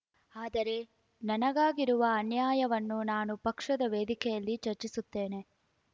ಆದರೆ ನನಗಾಗಿರುವ ಅನ್ಯಾಯವನ್ನು ನಾನು ಪಕ್ಷದ ವೇದಿಕೆಯಲ್ಲಿ ಚರ್ಚಿಸುತ್ತೇನೆ